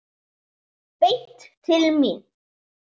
Beint til mín!